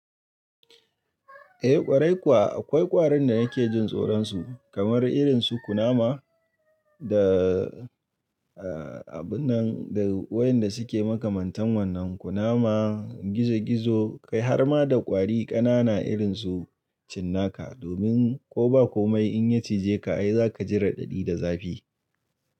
Eh ƙwarai kuwa, akwai ƙwarin da nake jin tsoron su kamar irin su kunama da, eh abun nan da wayan da suke makamantan wannan kunama, gizo gizo kai har ma da ƙwari ƙanana irin su cinnaka. Domin ko ba komai in ya cije ka ai za ka ji raɗaɗi da zafi.